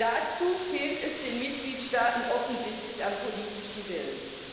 Dazu fehlt es den Mitgliedstaaten offensichtlich am politischen Willen.